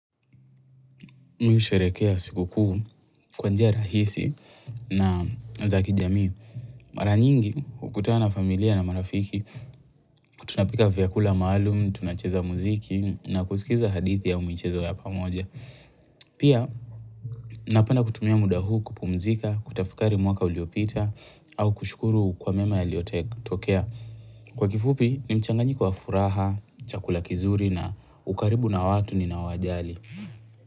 Mi husherekea sikukuu kwa njia rahisi na zaki jamii. Mara nyingi hukutana na familia na marafiki Tunapika vyakula maalumu, tunacheza muziki na kusikiza hadithi au michezo ya pamoja. Pia napenda kutumia muda huu kupumzika, kutafikari mwaka uliopita au kushukuru kwa mema yaliyotokea. Kwa kifupi ni mchanganyiko wa furaha, chakula kizuri na ukaribu na watu ni naowajali.